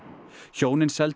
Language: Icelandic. hjónin seldu